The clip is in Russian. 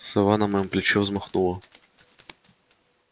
сова на моём плече взмахнула